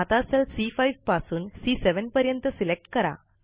आता cell C five पासून C five पर्यंत सिलेक्ट करा